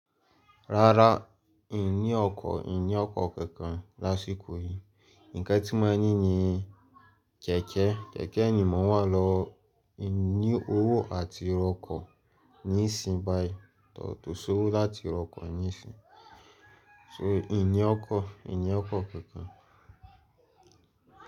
Rárá, ìn ni okọ̀, ìn ni ọkọ̀ kankan lásìkò yìí. Ǹkan ti mó ni ní kẹ̀kẹ́, kẹ̀kẹ́ ni mó wà lọ. Mi o ni owó àti ra ọ̀kọ̀ níìsín báyìí ko si owo láti ra ọkọ̀ níìsín. Mi o ni ọkọ̀, mi oni ọkọ̀ kankan.